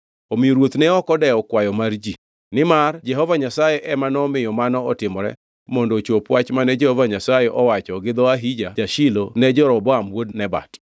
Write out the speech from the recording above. Omiyo ruoth ne ok odewo kwayo mar ji, nimar Jehova Nyasaye ema nomiyo mano otimore mondo ochop wach mane Jehova Nyasaye owacho gi dho Ahija ja-Shilo ne Jeroboam wuod Nebat.